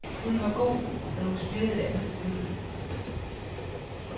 Hun var god, men hun spillede et andet stykke.